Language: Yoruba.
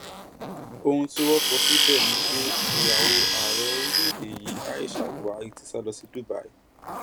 ohun tí wọn kọ síbẹ ni pé ìyàwó ààrẹ orílẹèdè yìí aisha buari ti sá lọ sí dubai